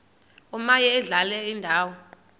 omaye adlale indawo